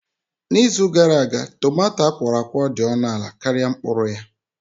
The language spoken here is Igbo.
N'izu gara aga, tumato akworakwo dị ọnụ ala karịa mkpụrụ ya.